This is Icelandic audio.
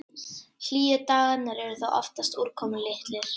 Hlýju dagarnir eru þó oftast úrkomulitlir.